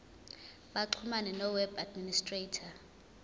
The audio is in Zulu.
baxhumane noweb administrator